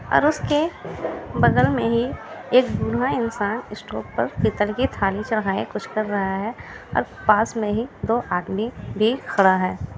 --और उसके बगल में ही एक बूढ़ा इंसान स्टॉप पर पितल की थाली चढ़ाये कुछ कर रहा है और पास में ही दो आदमी भी खड़ा है।